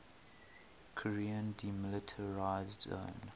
korean demilitarized zone